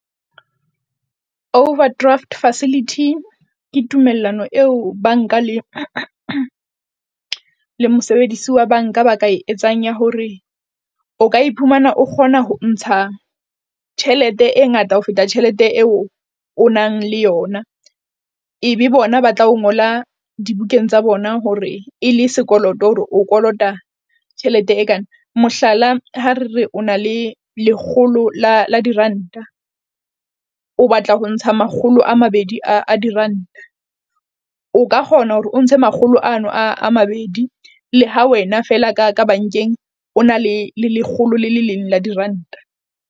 Overdraft facility ke tumellano eo bank-a le le mosebedisi, wa bank-a ba ka e etsang ya hore o ka iphumana o kgona ho ntsha tjhelete e ngata ho feta tjhelete eo o nang le yona. Ebe bona ba tla o ngola dibukeng tsa bona hore e le sekoloto hore o kolota tjhelete e kana. Mohlala, ha re re o na le lekgolo la la diranta, o batla ho ntsha makgolo a mabedi a diranta, o ka kgona hore o ntse makgolo ano a mabedi. Le ha wena fela ka ka bank-eng, o na le lekgolo le le leng la diranta.